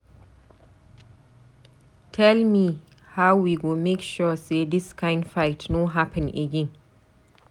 Tell me how we go make sure sey dis kind fight no happen again?